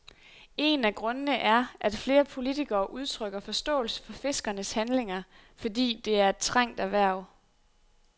En af grundene er, at flere politikere udtrykker forståelse for fiskernes handlinger, fordi det er et trængt erhverv.